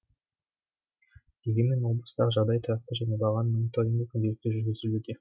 дегенмен облыстағы жағдай тұрақты және бағаның мониторингі күнделікті жүргізілуде